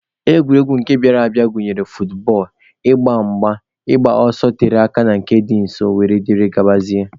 Egwuregwu nke bịara abịa gụnyere futbọọlụ, ịgba mgba, ịgba ọsọ tere aka na nke dị nso wdg.